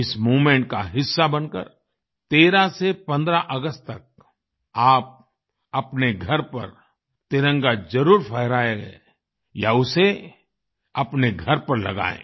इस मूवमेंट का हिस्सा बनकर 13 से 15 अगस्त तक आप अपने घर पर तिरंगा जरुर फहराएं या उसे अपने घर पर लगायें